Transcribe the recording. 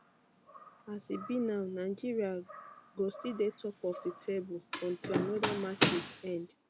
as e be now nigeria go still dey top of di table um until oda matches end um